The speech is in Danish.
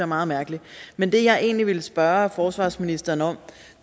meget mærkeligt men det jeg egentlig ville spørge forsvarsministeren om